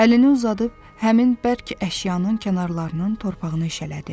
Əlini uzadıb həmin bərk əşyanın kənarlarının torpağını işələdi.